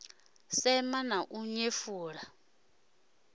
sema na u nyefula u